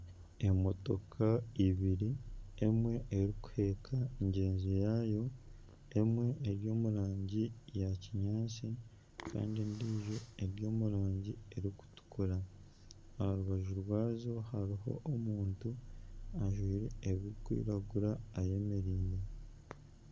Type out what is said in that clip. Emotoka ibiri emwe erikuheeka ngyenzi yaayo, emwe eri omu rangi ya kinyaatsi kandi endiijo eri omu rangi erikutukura aha rubaju rwazo hariho omuntu, ajwire ebirikwiragura eyamereire